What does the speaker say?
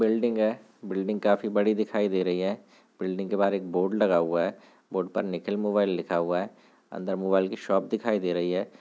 building है building काफी बड़ी दिखाई दे रही है बिल्डिंग के बाहर एक बोर्ड लगा हुआ है बोर्ड में निखिल मोबाइल लिखा हुआ है अंदर मोबाइल की शॉप दिखाई दे रही--